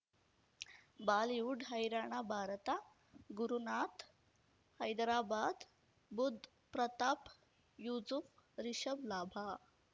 Bollywood ಹೈರಾಣ ಭಾರತ ಗುರುನಾಥ್ ಹೈದರಾಬಾದ್ ಬುಧ್ ಪ್ರತಾಪ್ ಯೂಸುಫ್ ರಿಷಬ್ ಲಾಭ